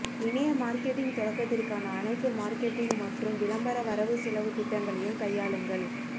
இணைய மார்க்கெட்டிங் தொடக்கத்திற்கான அனைத்து மார்க்கெட்டிங் மற்றும் விளம்பர வரவு செலவு திட்டங்களையும் கையாளுங்கள்